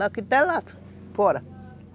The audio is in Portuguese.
Daqui até lá fora.